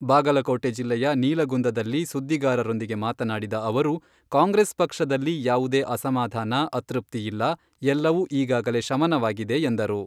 ಬಾಗಲಕೋಟೆ ಜಿಲ್ಲೆಯ ನೀಲಗುಂದದಲ್ಲಿ ಸುದ್ದಿಗಾರರೊಂದಿಗೆ ಮಾತನಾಡಿದ ಅವರು, ಕಾಂಗ್ರೆಸ್ ಪಕ್ಷದಲ್ಲಿ ಯಾವುದೇ ಅಸಮಾಧಾನ, ಅತೃಪ್ತಿಯಿಲ್ಲ , ಎಲ್ಲವೂ ಈಗಾಗಲೇ ಶಮನವಾಗಿದೆ ಎಂದರು.